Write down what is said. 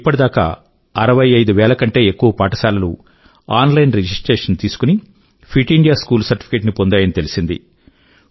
ఇప్పటిదాకా 65000 కంటే ఎక్కువ పాఠశాలలు ఆన్ లైన్ రిజిస్ట్రేషన్ తీసుకుని ఫిట్ ఇండియా స్కూల్ సర్టిఫికెట్ ని పొందాయని తెలిసింది